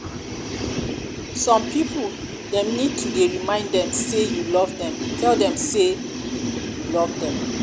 some pipo dem need you to dey remind dem sey you love dem tell dem sey you love dem